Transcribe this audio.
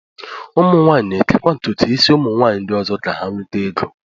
ụmụ nwaanyị na-ekekwa ntụtụ isi ụmụ nwanyị ndị ọzọ ka ha nweta ego